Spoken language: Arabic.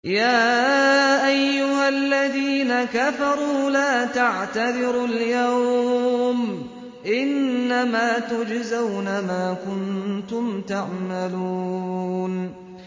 يَا أَيُّهَا الَّذِينَ كَفَرُوا لَا تَعْتَذِرُوا الْيَوْمَ ۖ إِنَّمَا تُجْزَوْنَ مَا كُنتُمْ تَعْمَلُونَ